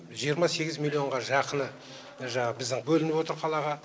жиырма сегіз миллионға жақыны жаңағы біздің бөлініп отыр қалаға